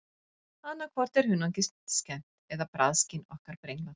Annað hvort er hunangið skemmt eða bragðskyn okkar brenglað.